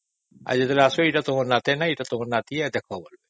ଆଉ ଯେତେବଳେ ଆସିବେ ଏଇଟା ଟାଣ ନାତି କି ନାତୁଣୀ ବୋଲି କହିବେ